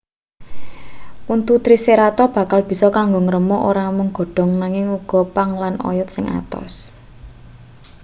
untu triceratop bakal bisa kanggo ngremuk ora mung godhong nanging uga pang lan oyot sing atos